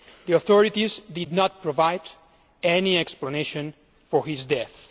The authorities did not provide any explanation for his death.